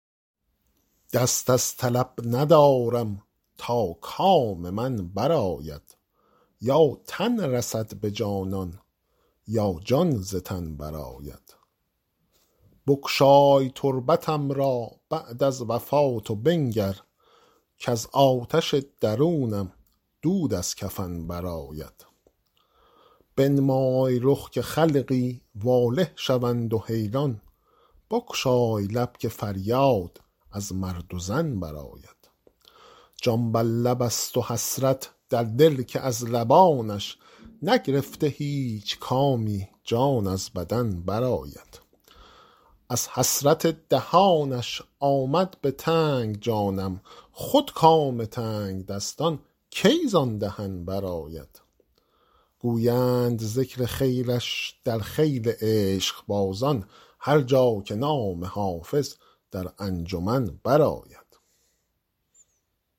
دست از طلب ندارم تا کام من برآید یا تن رسد به جانان یا جان ز تن برآید بگشای تربتم را بعد از وفات و بنگر کز آتش درونم دود از کفن برآید بنمای رخ که خلقی واله شوند و حیران بگشای لب که فریاد از مرد و زن برآید جان بر لب است و حسرت در دل که از لبانش نگرفته هیچ کامی جان از بدن برآید از حسرت دهانش آمد به تنگ جانم خود کام تنگدستان کی زان دهن برآید گویند ذکر خیرش در خیل عشقبازان هر جا که نام حافظ در انجمن برآید